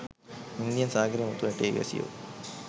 Indian සාගරයේ මුතු ඇටයේ වැසියෝ